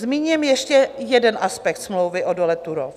Zmíním ještě jeden aspekt smlouvy o dole Turów.